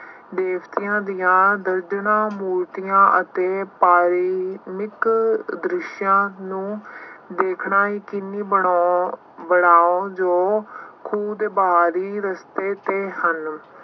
ਦੇਵਤਿਆਂ ਦੀਆਂ ਦਰਜਨਾਂ ਮੂਰਤੀਆਂ ਅਤੇ ਦ੍ਰਿਸ਼ਾਂ ਨੂੰ ਦੇਖਣਾ ਹੀ ਜੋ ਖੂਹ ਦੇ ਬਾਹਰੀ ਰਸਤੇ ਤੇ ਹਨ